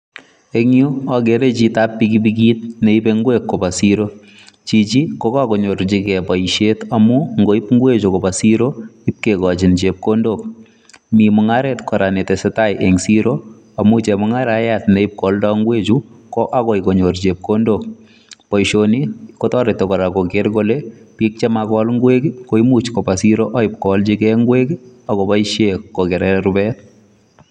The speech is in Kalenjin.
Eng yu, ageere chitoab pikipikt neipe ingwek koba siiro, chichi ko kakonyorchikei boisiet amun ngoip ingwechu koba siiro ipkekochin chepkondok, mi mungaret kora ne tesetai eng siiro amun chemungaraiyat neipkwaldai ingwechu ko akoi konyor chepkondok. Boisioni kotoreti kora kogeer kole biik che makol ingwek komuch koba siiro aipkowalchikei ingwek akopoishe kokerei rupet.